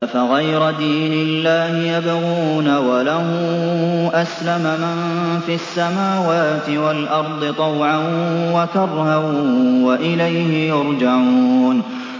أَفَغَيْرَ دِينِ اللَّهِ يَبْغُونَ وَلَهُ أَسْلَمَ مَن فِي السَّمَاوَاتِ وَالْأَرْضِ طَوْعًا وَكَرْهًا وَإِلَيْهِ يُرْجَعُونَ